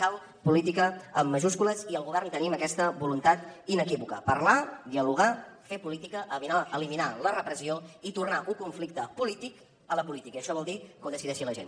cal política amb majúscules i al govern tenim aquesta voluntat inequívoca parlar dialogar fer política eliminar la repressió i tornar un conflicte polític a la política i això vol dir que ho decideixi la gent